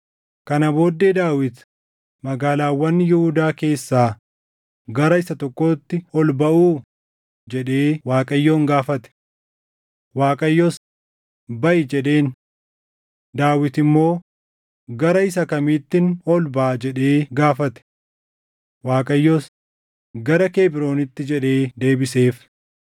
Kana booddee Daawit, “Magaalaawwan Yihuudaa keessaa gara isa tokkootti ol baʼuu?” jedhee Waaqayyoon gaafate. Waaqayyos, “Baʼi” jedheen. Daawit immoo, “Gara isa kamiittin ol baʼa?” jedhee gaafate. Waaqayyos, “Gara Kebroonitti” jedhee deebiseef.